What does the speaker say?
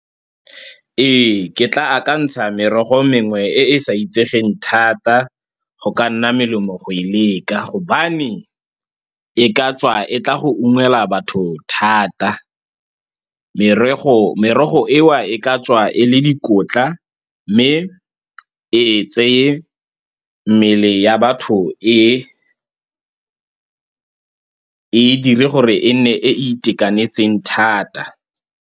Ee, ke tla akantsha merogo mengwe e e sa itsegeng thata, go ka nna molemo go e leka ka gobane e ka tswa e tla go ungwela batho thata. Merogo, merogo eo e ka tswa e le dikotla, mme e tseye mmele ya batho e e, e e dire gore e nne e e itekanetseng thata.